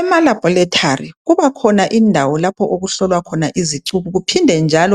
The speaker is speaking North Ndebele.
Emalabhorethari kuba khona indawo lapho okuhlolwa khona izicubu kuphinde